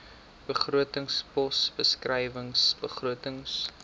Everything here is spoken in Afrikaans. begrotingspos beskrywing begrotings